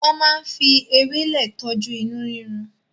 Wọ́n máa ń fi ewéle tọ́jú inú rírun.